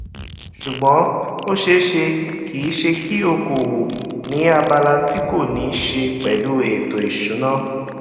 ṣùgbọn ó ṣeé ṣe kí ṣe kí okòwò ni abala ti kò ní ṣe pẹlú ètò ìsúná